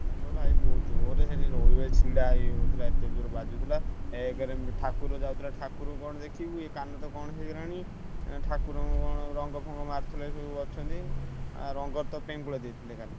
ହଁ ବା ଜୋରେ ସେଠି ରହି ଛିଡା ହେଇ ହଉନଥିଲା ଏତେ ଜୋରେ ବାଜୁଥିଲା। ଏକରେ ଉଁ ଠା କୁର ଯାଉଥିଲା ଠାକୁର କଣ ଦେଖିବୁ ଏଇ କାନ ତ କଣ ହେଇଗଲାଣି ଏଁ ଠାକୁରଙ୍କୁ କଣ ରଙ୍ଗ ଫଙ୍ଗ ମାରୁଥିଲେ ସାନୁ ଅଛନ୍ତି। ଆଉ ରଙ୍ଗରେ ତ ପେଙ୍ଗୁଳା ଦେଇଥିଲେ ଖାଲି।